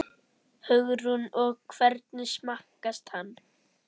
Hugrún: Og hvernig smakkast hann?